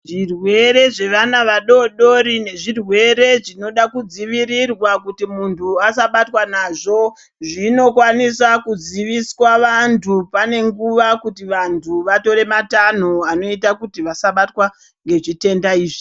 Zvirwere zvevana vadodori nezvirwere zvinode kudzivirirwa kuti muntu asabatwa nazvo zvinokwanisa kuziviswa vantu pane nguva kuti vantu vatore matanho anoita kuti vasabatwa ngezvitenda izvi.